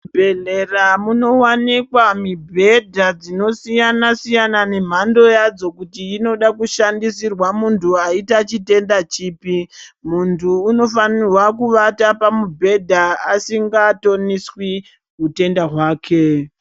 Muzvibhedhlera munowanikwa mibhedha dzinosiyana-siyana nemhando yadzo kuti inoda kushandisirwa muntu aita chitenda chipi. Muntu unofanirwa kuvata pamubhedha asingatoniswi hutenda hwake.